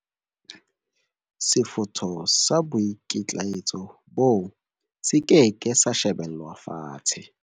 Sefutho sa boikitlaetso boo se ke ke sa shebelwa fatshe.